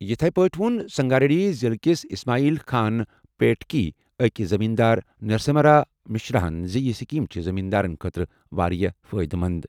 یِتھے پٲٹھۍ ووٚن سنگاریڈی ضِلعہٕ کِس اسماعیل خان پیٹٕکۍ أکۍ زٔمیٖن دار نرسمہارا مشرماہن زِ یہِ سکیٖم چھِ زمیٖن دارن خٲطرٕ واریاہ فٲیدٕ منٛد۔